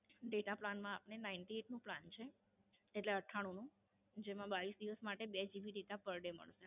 Data plan માં આપને Ninty eight નો Plan છે. એટલે અઠ્ઠાણું નો. જેમાં બાવીસ દિવસ માટે બે GB data per day મળશે